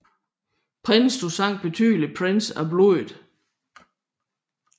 Prince du sang betyder prins af blodet